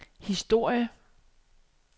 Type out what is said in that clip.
historie